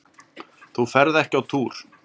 Þú ferð ekki á túr!